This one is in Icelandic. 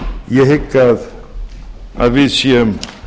ég hygg að við séum